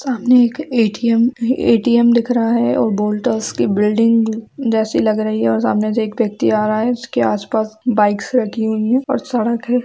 सामने एक ATM ATM दिख रहा है और वोल्टास की बिल्डिंग जैसी लग रही है और सामने से एक व्यक्ति आ रहा है उसके आसपास बाइक्स रखी हुई है और सड़क है।